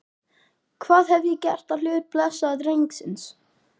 Hvað hef ég gert á hlut blessaðs drengsins?